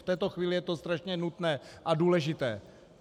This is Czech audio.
V této chvíli je to strašně nutné a důležité.